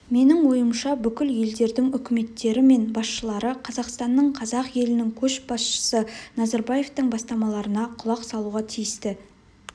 менің ойымша бүкіл елдердің үкіметтері мен басшылары қазақстанның қазақ елінің көшбасшысы назарбаевтың бастамаларына құлақ салуға тиісті